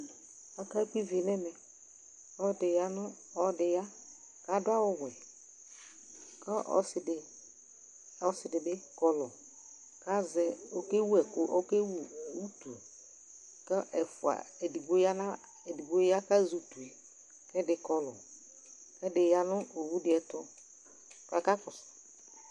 Ɔka gbɔ iʋi nu ɛmɛ Ɔlɔɖi ya nu, ɔlɔɖi ya Ku aɖu awu wɛ Ku ɔsiɖi, ɔsiɖi bi kɔlu Ka zɛ, oke wɛku, oke wu u utu Ku ɛfua: eɖigbo ya a, eɖigbo ya, ku azɛ utu yɛ Ku ɛɖi kɔlu Ɛɖi ya nu owu ɖi ayɛtu, ku aka kɔsu